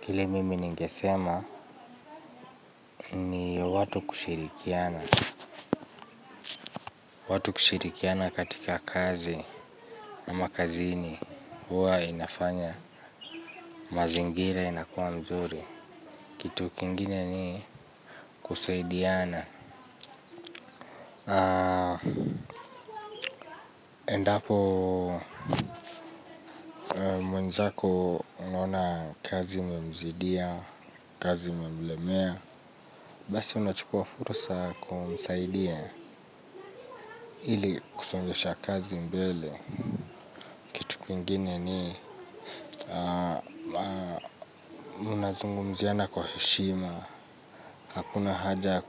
Kile mimi ningesema ni watu kushirikiana. Watu kushirikiana katika kazi ama kazini huwa inafanya mazingira inakua mzuri. Kitu kingine ni kusaidiana. Endapo mwenzako unaona kazi imemzidia, kazi imemlemea basi unachukua fursa kumsaidia. Hili kusongesha kazi mbele kitu kingine ni unazungumziana kwa heshima, hakuna haja ya